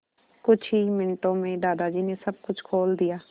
कुछ ही मिनटों में दादाजी ने सब कुछ खोल दिया